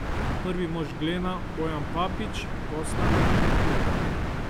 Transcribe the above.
Prvi mož Glena Bojan Papič posla ne komentira.